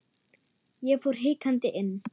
Ég fór hikandi inn.